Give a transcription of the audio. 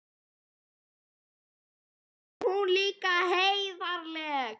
Og svo er hún líka heiðarleg.